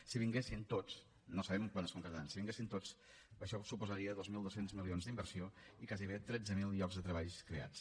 si vinguessin tots no sabem quan es concretaran si vinguessin tots això suposaria dos mil dos cents milions d’inversió i gairebé tretze mil llocs de treball creats